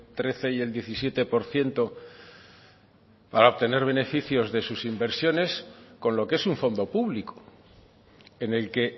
trece y el diecisiete por ciento para obtener beneficios de sus inversiones con lo que es un fondo público en el que